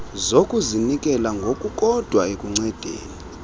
zokuzinikela ngokukodwa ekuncedeni